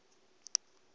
ḽa ik na iks la